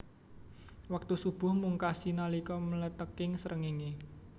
Wektu shubuh mungkasi nalika mlethèking srengéngé